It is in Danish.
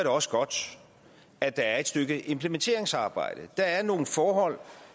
også godt at der er et stykke implementeringsarbejde der er nogle forhold